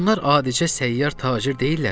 Bunlar adicə səyyar tacir deyillərmi?